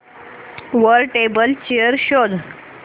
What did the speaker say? वर table chair शोध